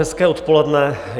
Hezké odpoledne.